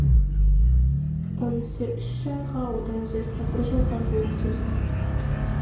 онысы үш айға одан ұзаса бір жылға жуық созылады